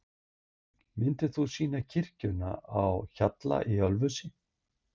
Myndin sýnir kirkjuna á Hjalla í Ölfusi.